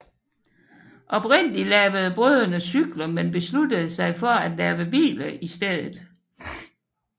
Oprindeligt lavede brødrene cykler men besluttede sig for at lave biler i stedet